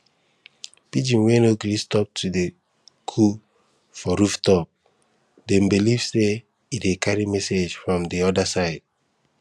pigeon wey no gree stop to dey coo for rooftop dem believe say e dey carry message from the other side